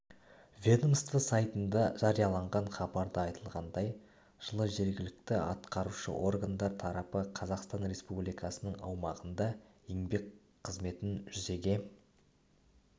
ведомство сайтында жарияланған хабарда айтылғандай жылы жергілікті атқарушы органдар тарапы қазақстан республикасының аумағында еңбек қызметін жүзеге